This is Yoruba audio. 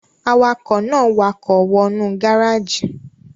Awakọ̀ náà wakọ̀ wọ nú gáràjì